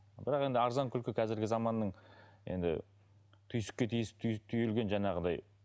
бірақ енді арзан күлкі қазіргі заманның енді түйсікке түйілген жаңағыдай